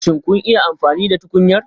Shin kun yi amfani da tukunyar?